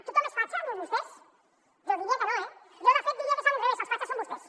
tothom és fatxa menys vostès jo diria que no eh jo de fet diria que és a l’inrevés els fatxes són vostès